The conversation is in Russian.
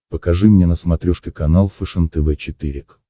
покажи мне на смотрешке канал фэшен тв четыре к